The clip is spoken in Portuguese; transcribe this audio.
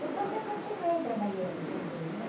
Depois eu continuei trabalhando também, né?